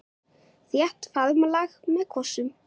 Þétt faðmlag með kossum.